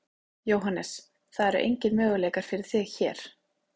Jóhannes: Það eru engir möguleikar fyrir þig hér?